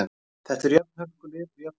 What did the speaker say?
Þetta eru tvö hörku lið og jöfn lið.